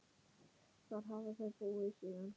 Þar hafa þau búið síðan.